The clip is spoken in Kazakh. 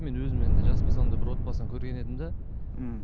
мен өзім енді жас болсам да бір отбасын көрген едім де мхм